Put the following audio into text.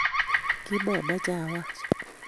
Kimamache awach